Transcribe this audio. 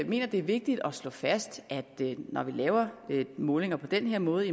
mener det er vigtigt at slå fast at når vi laver målinger på den her måde